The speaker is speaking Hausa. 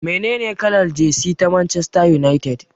Menene kalar jesi ta Manchester United?